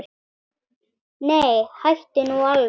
Nei, hættu nú alveg!